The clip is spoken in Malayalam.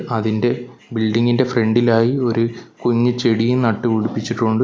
അതിൻ്റെ ബിൽഡിംഗ് ഇൻ്റെ ഫ്രണ്ടിലായി ഒര് കുഞ്ഞ് ചെടിയും നട്ട് പിടിപ്പിച്ചിട്ടുണ്ട്.